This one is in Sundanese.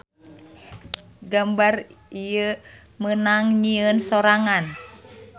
Gambar ieu meunang nyieun sorangan.